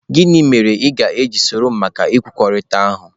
Gịnị mere ị ga-eji soro m gaa maka nkwekọrịta ahụ?